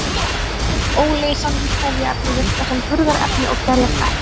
Sum óleysanleg trefjaefni virka sem burðarefni og gerjast ekki.